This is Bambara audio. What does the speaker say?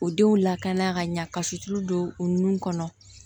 O denw lakana ka ɲa ka sutura don o nun kɔnɔ